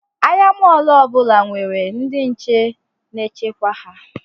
Ahịa mọlụ ọbụla nwere ndị nche na-echekwa ha